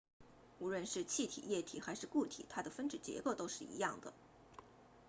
无论是气体液体还是固体它的分子结构都是一样的